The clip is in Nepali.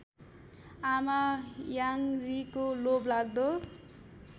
आमा याङरीको लोभलाग्दो